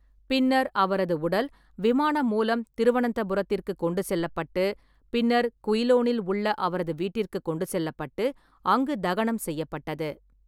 பின்னர் அவரது உடல் விமானம் மூலம் திருவனந்தபுரத்திற்கு கொண்டு செல்லப்பட்டு, பின்னர் குயிலோனில் உள்ள அவரது வீட்டிற்கு கொண்டு செல்லப்பட்டு, அங்கு தகனம் செய்யப்பட்டது.